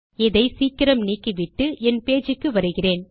இதை சீக்கிரம் நீக்கி விட்டு என் பேஜ் க்கு வருகிறேன்